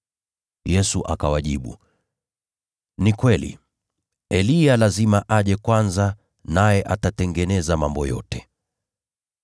Yesu akawajibu, “Ni kweli, Eliya lazima aje kwanza, naye atatengeneza mambo yote.